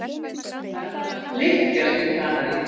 Ferðamenn flykkjast til Kanarí